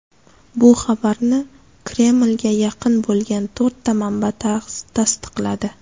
Bu xabarni Kremlga yaqin bo‘lgan to‘rtta manba tasdiqladi.